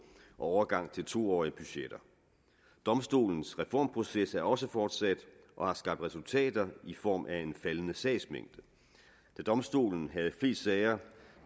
og overgang til to årige budgetter domstolens reformproces er også fortsat og har skabt resultater i form af en faldende sagsmængde da domstolen havde flest sager